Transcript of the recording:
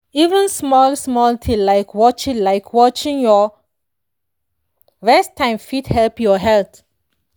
even small-small thing like watching like watching your rest time fit help your health.